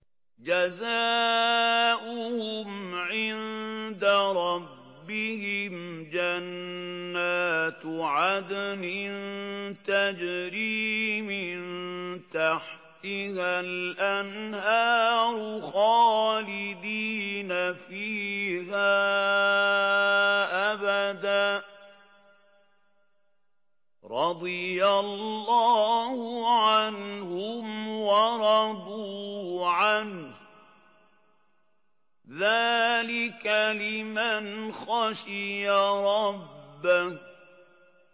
جَزَاؤُهُمْ عِندَ رَبِّهِمْ جَنَّاتُ عَدْنٍ تَجْرِي مِن تَحْتِهَا الْأَنْهَارُ خَالِدِينَ فِيهَا أَبَدًا ۖ رَّضِيَ اللَّهُ عَنْهُمْ وَرَضُوا عَنْهُ ۚ ذَٰلِكَ لِمَنْ خَشِيَ رَبَّهُ